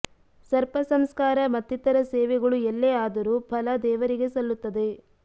ಸರ್ಪ ಸಂಸ್ಕಾರ ಮತ್ತಿತರ ಸೇವೆಗಳು ಎಲ್ಲೇ ಆದರೂ ಫಲ ದೇವರಿಗೆ ಸಲ್ಲುತ್ತದೆ